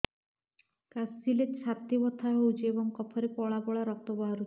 କାଶିଲେ ଛାତି ବଥା ହେଉଛି ଏବଂ କଫରେ ପଳା ପଳା ରକ୍ତ ବାହାରୁଚି